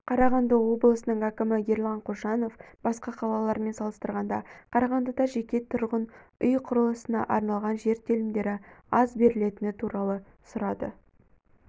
қарағанды облысының әкімі ерлан қошанов басқа қалалармен салыстырғанда қарағандыда жеке тұрғын үй құрылысына арналған жер телімдері аз берілетіні туралы сұрады